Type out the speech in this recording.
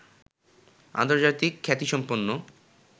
আন্তর্জাতিক খ্যাতিসম্পন্ন